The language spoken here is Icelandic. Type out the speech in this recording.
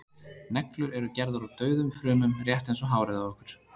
neglur eru gerðar úr dauðum frumum rétt eins og hárið á okkur